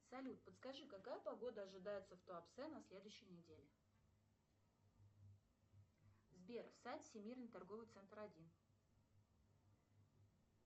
салют подскажи какая погода ожидается в туапсе на следующей неделе сбер сайт всемирный торговый центр один